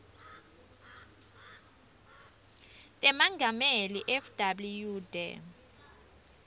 tamengameli fw de